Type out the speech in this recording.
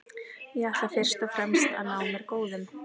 Ég ætla fyrst og fremst að ná mér góðum.